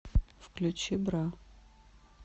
включи бра